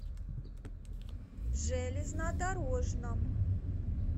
железнодорожном